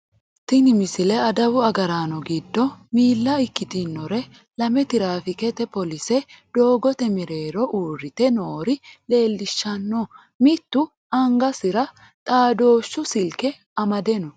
tini misile adawu agraano giddo miilla ikkitinore lame tiraafiikete poolise doogote mereeroho uurrite noore leellishshanno mittu angasira xaadooshshu silke amade no